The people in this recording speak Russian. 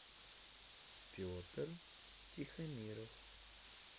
петр тихомиров